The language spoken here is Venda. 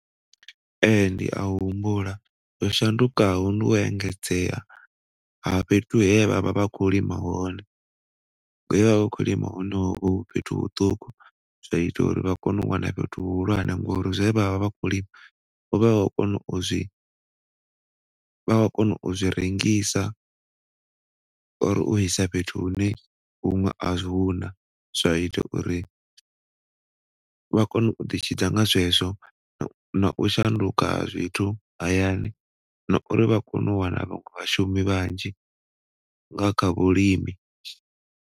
Ehe, ndi a humbula zwo shandukaho ndi u engedzea ha fhethu he vhavha vha khou lima hone. He vhavha vha khou lima hone ho vha hu fhethu huṱuku zwaita uri vha kone u wana fhethu hu hulwane ngauri zwe vhavha vha khou lima, vha vha kho kona u zwi, vhavha vha kona u zwi rengisa or u isa fhethu hune huṅwe ahuna zwaita uri vha kone u ḓi tshidza nga zwezwo na u shanduka ha zwithu hayani na uri vha kone u wana vhaṅwe vhashumi vhanzhi nga kha vhulimi.